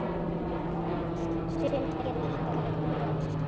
Sumir gera ríkari kröfur.